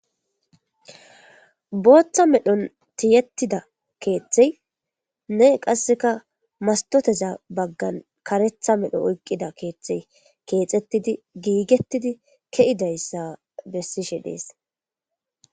Booththa medhon tiyettida keeththey ne qasseka mastoteza baggan karetha medho oyqqida keeththey keexettidi giigettidi ke7idayssa bessishe dees